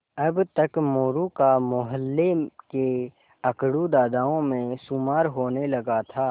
अब तक मोरू का मौहल्ले के अकड़ू दादाओं में शुमार होने लगा था